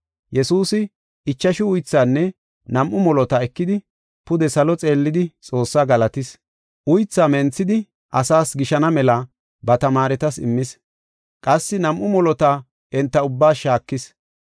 Yesuusi ichashu uythaanne nam7u molota ekidi, pude salo xeellidi Xoossaa galatis. Uythaa menthidi asaas gishana mela ba tamaaretas immis. Qassi nam7u molota enta ubbaas shaakis.